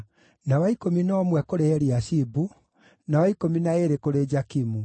na wa ikũmi na ũmwe kũrĩ Eliashibu, na wa ikũmi na ĩĩrĩ kũrĩ Jakimu,